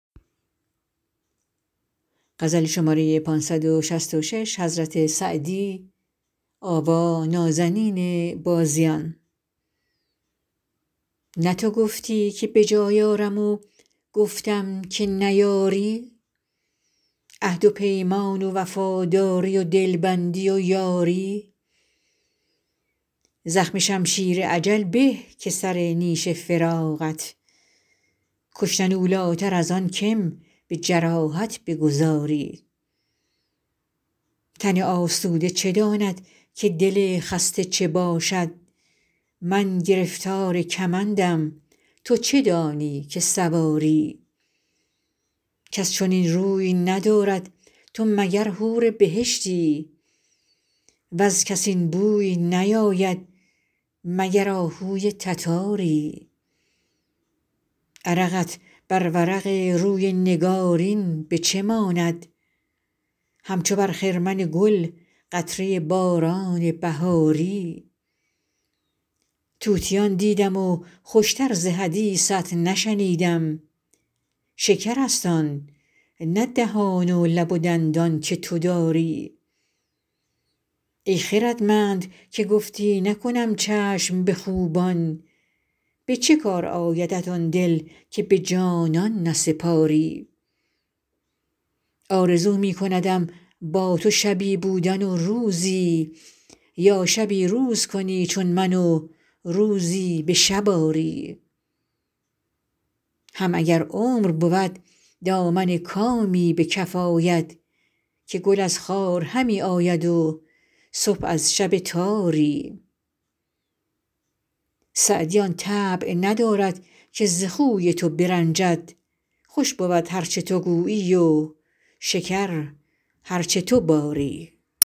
نه تو گفتی که به جای آرم و گفتم که نیاری عهد و پیمان و وفاداری و دلبندی و یاری زخم شمشیر اجل به که سر نیش فراقت کشتن اولاتر از آن که م به جراحت بگذاری تن آسوده چه داند که دل خسته چه باشد من گرفتار کمندم تو چه دانی که سواری کس چنین روی ندارد تو مگر حور بهشتی وز کس این بوی نیاید مگر آهوی تتاری عرقت بر ورق روی نگارین به چه ماند همچو بر خرمن گل قطره باران بهاری طوطیان دیدم و خوش تر ز حدیثت نشنیدم شکرست آن نه دهان و لب و دندان که تو داری ای خردمند که گفتی نکنم چشم به خوبان به چه کار آیدت آن دل که به جانان نسپاری آرزو می کندم با تو شبی بودن و روزی یا شبی روز کنی چون من و روزی به شب آری هم اگر عمر بود دامن کامی به کف آید که گل از خار همی آید و صبح از شب تاری سعدی آن طبع ندارد که ز خوی تو برنجد خوش بود هر چه تو گویی و شکر هر چه تو باری